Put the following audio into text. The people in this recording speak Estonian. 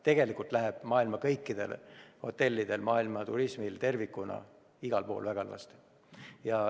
Tegelikult läheb kõikidel maailma hotellidel, maailma turismil tervikuna igal pool väga halvasti.